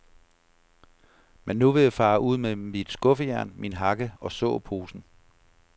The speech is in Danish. Men nu vil jeg fare ud med mit skuffejern, min hakke og såposen.